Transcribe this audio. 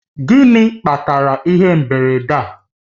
Gịnị kpatara ihe mberede a?